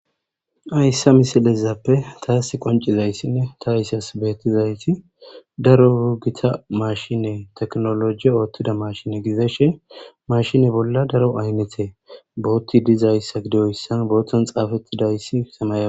ayssa misilezappe taasi qancizayssinne ta ysas beettizayti daro gita mashine teknoloji oottida mashine gizashe mashine bolla daro aynete bootti dizayssa gidoyssan booton xaafettidayssi samaya